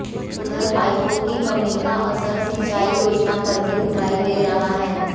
उधर पाइपों की कमी का असर सिंचाई योजनाओं पर भी पड़ता दिखाई दे रहा है